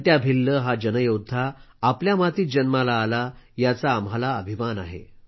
तंट्या भिल्ल हा योद्धा आपल्या मातीत जन्माला आला याचा आम्हाला अभिमान आहे